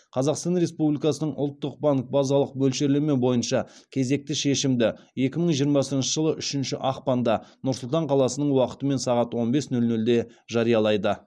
қазақстан республикасының ұлттық банк базалық мөлшерлеме бойынша кезекті шешімді екі мың жиырмасыншы жылы үшінші ақпанда нұр сұлтан қаласының уақытымен сағат он бес нөл нөлде жариялайды